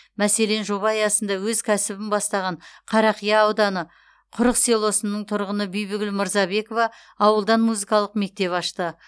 мәселен жоба аясында өз кәсібін бастаған қарақия ауданы құрық селосының тұрғыны бибігүл мырзабекова ауылдан музыкалық мектеп ашты